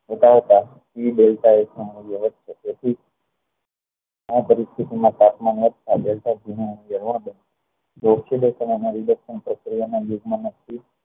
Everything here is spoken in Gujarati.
બતાવતા એ આ પરિસ્થિતિ ના તાપમાન વધતા બળતા ઘી નું પ્રક્રિયા ના યુગ્મ નક્કી